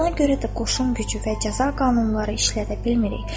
Buna görə də qoşun gücü və cəza qanunları işlədə bilmirik.